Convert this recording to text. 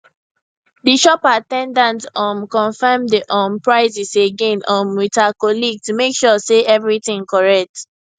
the shop at ten dant um confirm the um prices again um with her colleague to make sure say everything correct